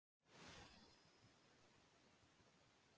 Ölgerð fór í stórum dráttum fram á eftirfarandi hátt.